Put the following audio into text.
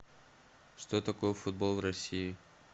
что такое футбол в россии